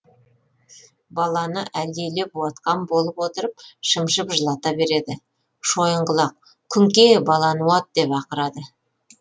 баланы әлдилеп уатқан болып отырып шымшып жылата береді шойынқұлақ күңке баланы уат деп ақырады